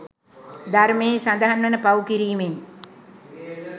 ධර්මයෙහි සඳහන් වන පව් කිරිමෙන්